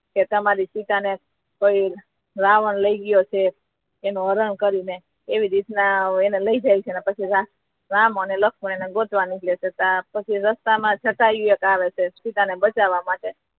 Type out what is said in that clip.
તમારી સીતા ને કઈ રાવણ લઈ ગયો છે તેનુ હરણ કરીને એવી રીતના એના લઈ જાય છે પછી રામ અને લક્ષ્મણ એને ગોતવા નીકળે છે પછી રસ્તા મા જટાયુ યે આવે છે સીતા ને બચાવવા માટે